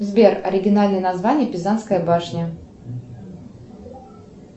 сбер оригинальное название пизанская башня